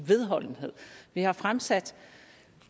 vedholdenhed vi har fremsat